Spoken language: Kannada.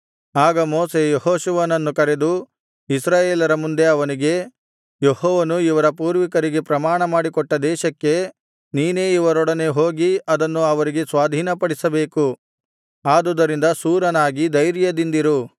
ಆಗ ಮೋಶೆ ಯೆಹೋಶುವನನ್ನು ಕರೆದು ಇಸ್ರಾಯೇಲರ ಮುಂದೆ ಅವನಿಗೆ ಯೆಹೋವನು ಇವರ ಪೂರ್ವಿಕರಿಗೆ ಪ್ರಮಾಣಮಾಡಿಕೊಟ್ಟ ದೇಶಕ್ಕೆ ನೀನೇ ಇವರೊಡನೆ ಹೋಗಿ ಅದನ್ನು ಅವರಿಗೆ ಸ್ವಾಧೀನಪಡಿಸಬೇಕು ಆದುದರಿಂದ ಶೂರನಾಗಿ ಧೈರ್ಯದಿಂದಿರು